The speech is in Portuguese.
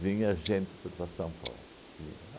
gente para São Paulo. Vinha